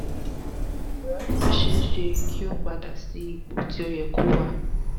ǹjẹ́ ó ṣe é ṣe kí ó padà sí ipò tó yẹ kó wà?